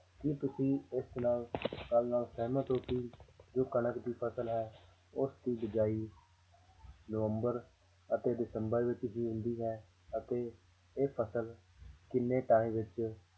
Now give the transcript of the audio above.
ਕੀ ਤੁਸੀਂ ਇਸ ਨਾਲ ਗੱਲ ਨਾਲ ਸਹਿਮਤ ਹੋ ਕਿ ਜੋ ਕਣਕ ਦੀ ਫ਼ਸਲ ਹੈ ਉਸਦੀ ਬੀਜਾਈ ਨਵੰਬਰ ਅਤੇ ਦਸੰਬਰ ਵਿੱਚ ਬੀਜਦੀ ਹੈ ਅਤੇ ਇਹ ਫ਼ਸਲ ਕਿੰਨੇ time ਵਿੱਚ